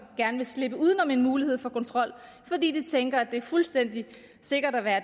gerne vil slippe uden om en mulighed for kontrol fordi de tænker at det er fuldstændig sikkert at være